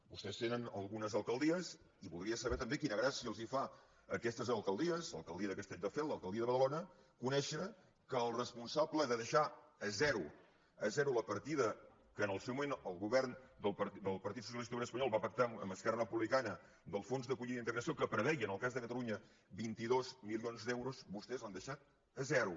vostès tenen algunes alcaldies i voldria saber també quina gràcia els fa a aquestes alcaldies a l’alcaldia de castelldefels l’alcaldia de badalona conèixer que el responsable de deixar a zero la partida que en el seu moment el govern del partit socialista obrer espanyol va pactar amb esquerra republicana del fons d’acollida i integració que preveia en el cas de catalunya vint dos milions d’euros vostès l’han deixat a zero